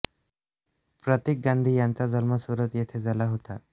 प्रतीक गांधी यांचा जन्म सुरत येथे झाला होता